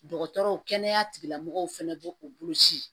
Dɔgɔtɔrɔw kɛnɛya tigilamɔgɔw fɛnɛ b'o o boloci